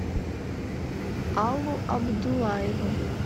аллу абдуллаеву